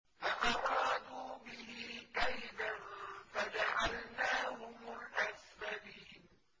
فَأَرَادُوا بِهِ كَيْدًا فَجَعَلْنَاهُمُ الْأَسْفَلِينَ